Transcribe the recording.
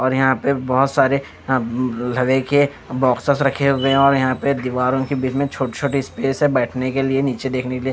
और यहां पे बहुत सारे देखिए बॉक्सेस रखे हुए हैं और यहां पे दीवारों के बीच में छोटे छोटे स्पेस हैं बैठने के लिए नीचे देखने के लिए।